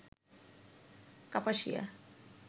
Kapasia